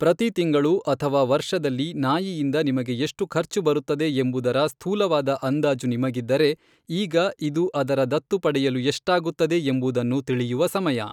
ಪ್ರತಿ ತಿಂಗಳು ಅಥವಾ ವರ್ಷದಲ್ಲಿ ನಾಯಿಯಿಂದ ನಿಮಗೆ ಎಷ್ಟು ಖರ್ಚು ಬರುತ್ತದೆ ಎಂಬುದರ ಸ್ಥೂಲವಾದ ಅಂದಾಜು ನಿಮಗಿದ್ದರೆ, ಈಗ ಇದು ಅದರ ದತ್ತು ಪಡೆಯಲು ಎಷ್ಟಾಗುತ್ತದೆ ಎಂಬುದನ್ನು ತಿಳಿಯುವ ಸಮಯ.